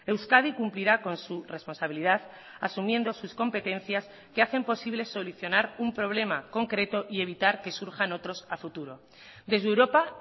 euskadi cumplirá con su responsabilidad asumiendo sus competencias que hacen posible solucionar un problema concreto y evitar que surjan otros a futuro desde europa